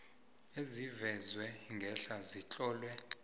ezivezwe ngehla zitlolwe